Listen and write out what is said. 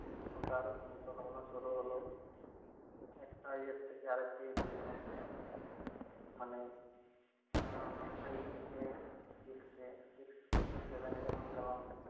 উল্টা আরো চিন্তাভাবনা শুরু হল। একটা ইয়ে থেকে আরেকটা ইয়েতে যেতাম। মানে আহ five থেকে six এ six থেকে seven এ যখন গেলাম